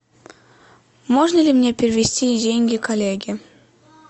можно ли мне перевести деньги коллеге